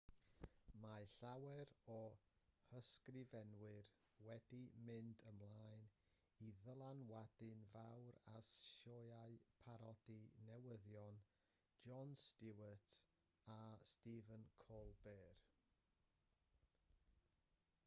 mae llawer o'u hysgrifenwyr wedi mynd ymlaen i ddylanwadu'n fawr ar sioeau parodi newyddion jon stewart a stephen colbert